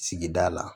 Sigida la